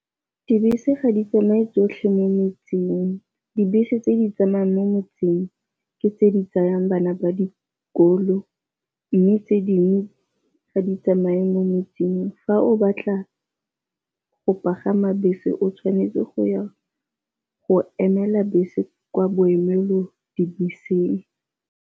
Dibese ga di tsamaye tsotlhe mo metseng, dibese tse di tsamayang mo metseng ke tse di tsayang bana ba dikolo, mme tse dingwe tsamaye mo metseng. Fa o batla go pagama bese o tshwanetse go ya go emela bese kwa boemelodibeseng.